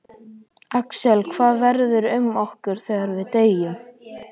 Axel: Hvað verður um okkur þegar við deyjum?